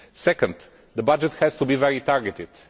Second, the budget has to be highly targeted.